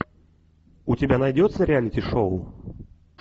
у тебя найдется реалити шоу